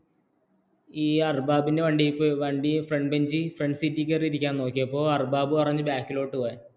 ഈ അർബാബ് എന്റെ വണ്ടിയില്‍ പൊയ് ഫ്രാണ്ട്ബെന്ന്ജില്‍ കെരീരികന്ന കാന്‍ നോകിയപോള്‍ അർബാബ്പറഞ്ഞു ബാക്ക്കിലോട്ടു പോകാന്‍